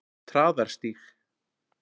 Traðarstíg